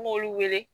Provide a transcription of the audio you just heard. An m'olu wele